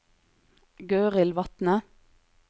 Gøril Vatne